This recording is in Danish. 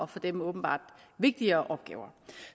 og for dem åbenbart vigtigere opgaver